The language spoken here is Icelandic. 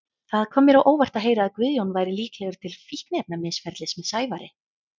Það kom mér á óvart að heyra að Guðjón væri líklegur til fíkniefnamisferlis með Sævari.